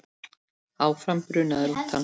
Áfram brunaði rútan.